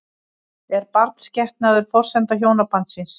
Er barnsgetnaður forsenda hjónabandsins?